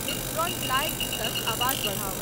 हिप्स don't lie गीतक आवाज बढ़ाऊ ।